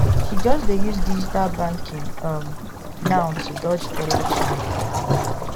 he just dey use digital banking um now to dodge teller charge